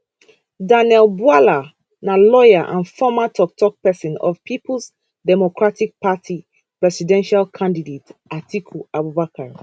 daniel bwala na lawyer and former toktok pesin of peoples democratic party presidential candidate atiku abubakar